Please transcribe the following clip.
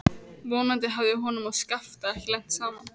Vonandi hafði honum og Skafta ekki lent saman.